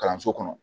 Kalanso kɔnɔ